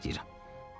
Xahiş edirəm.